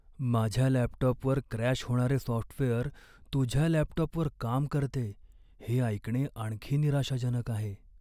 माझ्या लॅपटॉपवर क्रॅश होणारे सॉफ्टवेअर तुझ्या लॅपटॉपवर काम करतेय हे ऐकणे आणखी निराशाजनक आहे.